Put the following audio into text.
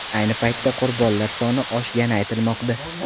Ayni paytda qurbonlar soni oshgani aytilmoqda.